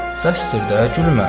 Bəsdir də, gülmə.